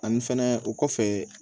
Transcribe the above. Ani fɛnɛ o kɔfɛ